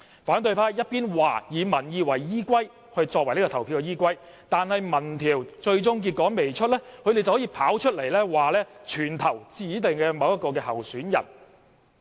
他們一邊說以民意作為投票的依歸，但民調最終的結果還未公布，他們就跑出來說全部投票給某位指定的候選人。